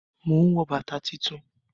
Mò ń wọ bàtà tuntun